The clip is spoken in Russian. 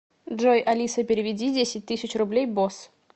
джой алиса переведи десять тысяч рублей босс